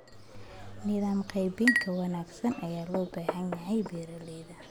Nidaam qaybin ka wanaagsan ayaa loo baahan yahay beeralayda.